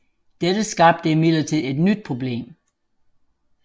Dette skabte imidlertid et nyt problem